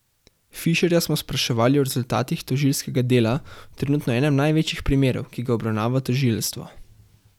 Fišerja smo spraševali o rezultatih tožilskega dela v trenutno enem največjih primerov, ki ga obravnava tožilstvo.